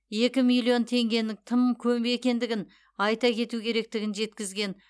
екі миллион теңгенің тым көп екендігін азайту керектігін жеткізген